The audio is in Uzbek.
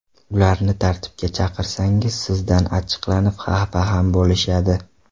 Ularni tartibga chaqirsangiz sizdan achchiqlanib, xafa ham bo‘lishadi.